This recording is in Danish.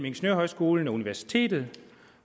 ingeniørhøjskolen og universitetet